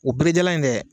O berejalan in dɛ